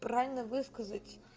правильно высказать